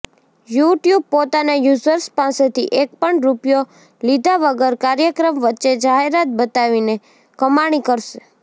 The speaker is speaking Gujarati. યૂ ટ્યૂબ પોતાના યુઝર્સ પાસેથી એકપણ રુપિયો લીધા વગર કાર્યક્રમ વચ્ચે જાહેરાત બતાવીને કમાણી કરશે